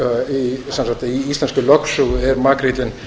í íslenskri lögsögu er makríllinn